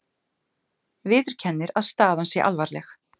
Viðurkennir að staðan sé alvarleg